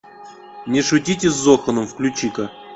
не шутите с зоханом включи ка